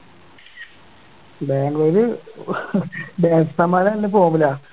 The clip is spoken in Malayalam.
ബാംഗ്ലൂര് batsman മാര് നല്ല form ലാ